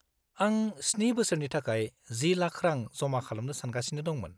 -आं 7 बोसोरनि थाखाय 10 लाख रां जमा खालामनो सानगासिनो दंमोन।